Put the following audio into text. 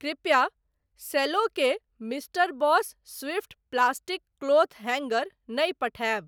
कृपया सेल्लो के mister Boss Swift plastic cloth hanger नहि पठायब।